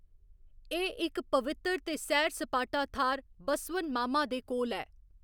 एह्‌‌ इक पवित्तर ते सैर सपाटा थाह्‌‌‌र 'बसवन मामा' दे कोल ऐ।